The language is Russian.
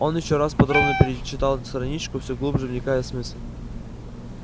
он ещё раз подробно перечитал страничку все глубже вникая в смысл